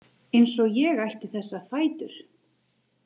Eins og ég ætti þessa fætur.